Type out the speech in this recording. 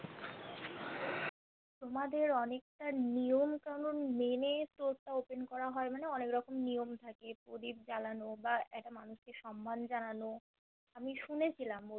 তোমাদের অনেকটা নিয়ম কানুন মেনে Store টা Open করা হয় মানে অনেক রকম নিয়ম থাকে প্রদীপ জ্বালানো বা একটা মানুষকে সম্মান জানানো আমি শুনেছিলাম